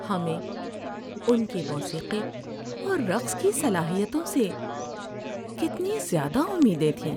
ہمیں ان کی موسیقی اور رقص کی صلاحیتوں سے کتنی زیادہ امیدیں تھیں۔